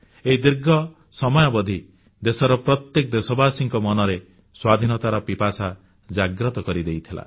ଏହି ଦୀର୍ଘ ସମୟାବଧି ଦେଶର ପ୍ରତ୍ୟେକ ଦେଶବାସୀଙ୍କ ମନରେ ସ୍ୱାଧୀନତାର ପିପାସା ଜାଗ୍ରତ କରିଦେଇଥିଲା